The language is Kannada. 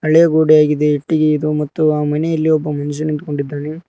ಬಿಳೇ ಗೋಡೆಯಾಗಿದೆ ಇಟ್ಟಿಗೆ ಇದು ಮತ್ತು ಆ ಮನೆಯಲ್ಲಿ ಒಬ್ಬ ಮನುಷ್ಯ ನಿಂತ್ಕೊಂಡಿದ್ದಾನೆ.